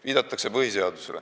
Viidatakse põhiseadusele.